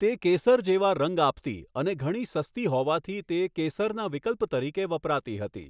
તે કેસર જેવા રંગ આપતી અને ઘણી સસ્તી હોવાથી તે કેસરના વિકલ્પ તરીકે વપરાતી હતી.